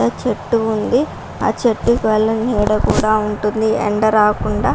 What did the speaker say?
చెట్టు ఉంది ఆ చెట్టు వల్ల నీడ కూడా ఉంటుంది ఎండ రాకుండా .